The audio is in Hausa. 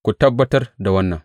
Ku tabbatar da wannan.